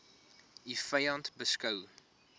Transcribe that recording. u vyand beskou